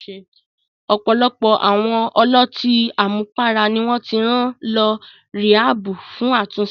Ọ̀pọ̀lọpọ̀ àwọn ọlọ́tí àmupara ni wọ́n ti rán lọ ríhábù fún àtúnṣe.